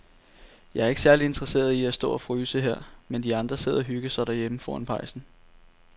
Jeg er ikke særlig interesseret i at stå og fryse her, mens de andre sidder og hygger sig derhjemme foran pejsen.